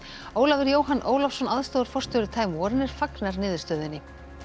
Ólafur Jóhann Ólafsson aðstoðarforstjóri time fagnar niðurstöðunni